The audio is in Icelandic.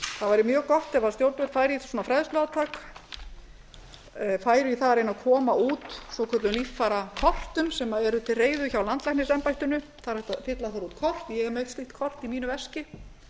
það væri mjög gott ef stjórnvöld færu í svona fræðsluátak færu í það að reyna að koma út svokölluðum líffærakort sem eru til reiðu hjá landlæknisembættinu það er hægt að fylla þar út kort ég er með eitt slíkt kort í mínu veski